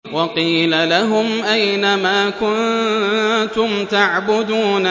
وَقِيلَ لَهُمْ أَيْنَ مَا كُنتُمْ تَعْبُدُونَ